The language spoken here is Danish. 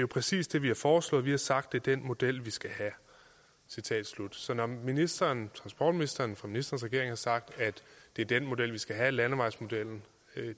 præcis det vi har foreslået vi har sagt det er den model vi skal have så når ministeren transportministeren fra ministerens sagt at det er den model vi skal have landevejsmodellen